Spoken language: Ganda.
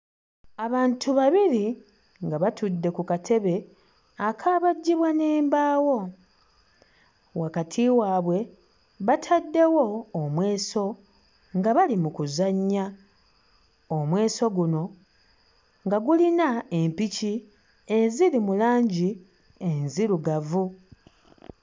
Abantu babiri nga batudde ku katebe akaabajjibwa n'embaawo wakati waabwe bataddewo omweso nga bali mu kuzannya omweso guno nga gulina empiki eziri mu langi enzirugavu.